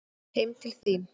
Heim til þín